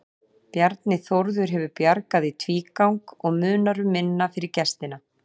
Bjarni Þórður hefur bjargað í tvígang og munar um minna fyrir gestina.